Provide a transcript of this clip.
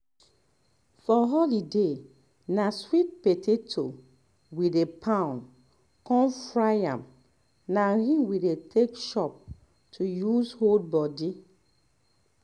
for holiday na sweet potato wey dey pound con fry am um na im dey take chop to use hold body